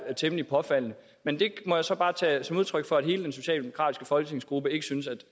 temmelig påfaldende men det må jeg så bare tage som udtryk for at hele den socialdemokratiske folketingsgruppe ikke synes at